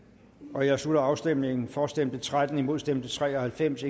jeg slutter afstemningen for stemte tretten imod stemte tre og halvfems